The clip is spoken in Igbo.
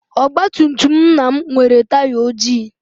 Ọgbatumtum nna m nwere taya ojii.